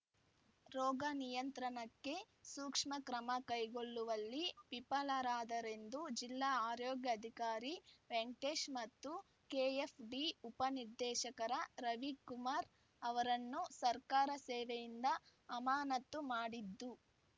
ರೋಗ ನಿಯಂತ್ರಣಕ್ಕೆ ಸೂಕ್ಷ್ಮ ಕ್ರಮ ಕೈಗೊಳ್ಳುವಲ್ಲಿ ವಿಫಲರಾದರೆಂದು ಜಿಲ್ಲಾ ಆರೋಗ್ಯಾಧಿಕಾರಿ ವೆಂಕಟೇಶ್‌ ಮತ್ತು ಕೆಎಫ್‌ಡಿ ಉಪ ನಿರ್ದೇಶಕ ರವಿಕುಮಾರ್‌ ಅವರನ್ನು ಸರ್ಕಾರ ಸೇವೆಯಿಂದ ಅಮಾನತ್ತು ಮಾಡಿದ್ದು